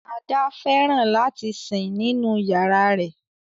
Ada fẹràn lati sin ninu yárà rẹ.